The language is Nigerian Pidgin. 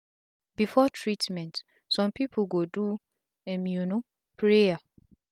before treatment sum pipu go do um prayer